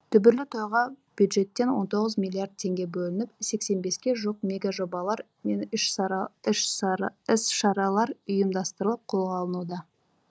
дүбірлі тойға бюджеттен он тоғыз миллиард теңге бөлініп сексен беске жуық мега жобалар мен іс шаралар ұйымдастырылып қолға алынуда